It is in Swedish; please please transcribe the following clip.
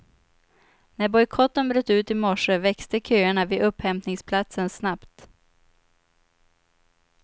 När bojkotten bröt ut i morse växte köerna vid upphämtningsplatsen snabbt.